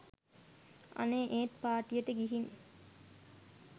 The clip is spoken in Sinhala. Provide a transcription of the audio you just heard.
අනේ ඒත් පාටියට ගිහින්